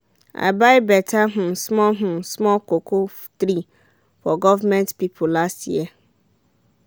i buy better um small um small cocoa tree from government people last year